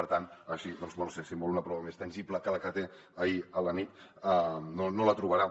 per tant així doncs bé no ho sé si en vol una prova més tangible que la que té d’ahir a la nit no la trobarà